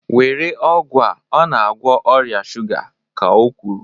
Were ọgwụ a ọ na-agwọ ọrịa shuga ka o kwuru.!